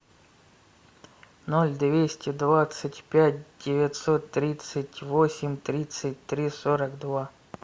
ноль двести двадцать пять девятьсот тридцать восемь тридцать три сорок два